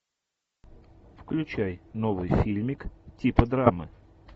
включай новый фильмик типа драмы